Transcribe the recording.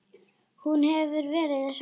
Hún hefur verið hress?